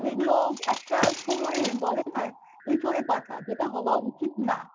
যেগুলো একটা সময় বলে না এঁচোড়ে পাকা যেটা হওয়া উচিত না